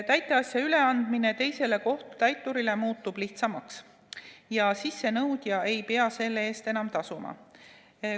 Täiteasja üleandmine teisele kohtutäiturile muutub lihtsamaks ja sissenõudja ei pea selle eest enam tasuma.